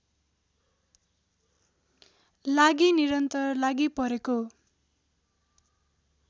लागि निरन्तर लागिपरेको